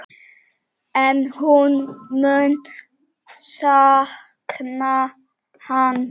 En hún mun sakna hans.